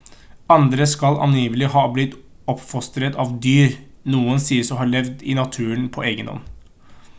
andre skal angivelig ha blitt oppfostret av dyr noen sies å ha levd i naturen på egenhånd